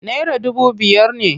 Naira dubu biyar ne.